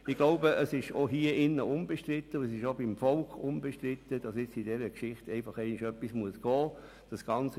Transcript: Ich glaube, dass es im Grossen Rat, aber auch im Volk unbestritten ist, dass diesbezüglich endlich etwas getan werden muss.